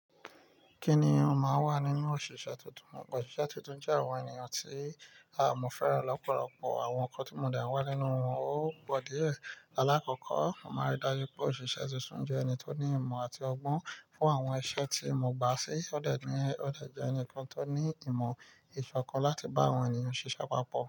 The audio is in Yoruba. Kí ni ó máa n wà nínú òṣìṣẹ́ tuntun? Òṣìṣẹ́ tuntun jẹ́ àwọn ènìyàn tí mọ́ fẹ́ràn lọ́pọ̀lọpọ̀. Àwọn ǹnkan ti mọ̀ de n wà nínú wọn ó pọ̀ díẹ̀. Alákọ̀ọ́kọ́, mo máa rí dájú pé òṣìṣẹ́ tuntun jẹ́ ẹni tó ní ìmọ̀ àti ọgbọ́n fún àwọn iṣẹ́ tí mo gbà sí. Ó dẹ̀ jẹ́ ẹni kan tó ní ìmọ̀ ìṣọ̀kan láti bá àwọn ènìyàn ṣíṣẹ́ papọ̀